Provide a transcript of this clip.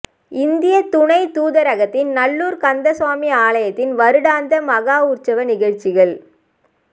இந்திய துணைத் தூதரகத்தின் நல்லூர் கந்தசுவாமி ஆலயத்தின் வருடாந்த மஹோற்சவ நிகழ்ச்சிகள்